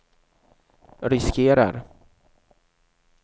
riskerar